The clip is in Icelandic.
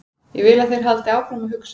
Ég vil að þeir haldi áfram að hugsa.